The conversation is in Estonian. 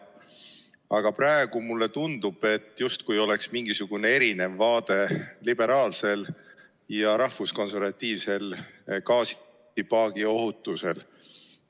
Aga praegu mulle tundub, justkui oleks mingisugune erinev liberaalne ja rahvuskonservatiivne vaade gaasipaagi ohutusele.